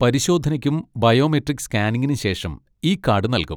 പരിശോധനയ്ക്കും ബയോമെട്രിക് സ്കാനിംഗിനും ശേഷം ഇ കാഡ് നൽകും.